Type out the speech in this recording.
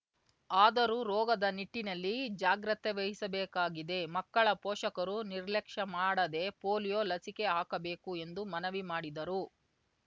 ಆದರೂ ರೋಗದ ನಿಟ್ಟಿನಲ್ಲಿ ಜಾಗ್ರತೆ ವಹಿಸಬೇಕಾಗಿದೆ ಮಕ್ಕಳ ಪೋಷಕರೂ ನಿರ್ಲಕ್ಷ ಮಾಡದೆ ಪೋಲಿಯೊ ಲಸಿಕೆ ಹಾಕಬೇಕು ಎಂದು ಮನವಿ ಮಾಡಿದರು